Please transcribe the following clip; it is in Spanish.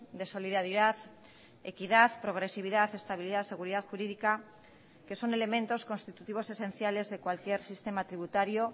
de solidaridad equidad progresividad estabilidad seguridad jurídica que son elementos constitutivos esenciales de cualquier sistema tributario